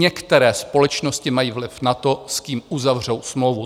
Některé společnosti mají vliv na to, s kým uzavřou smlouvu.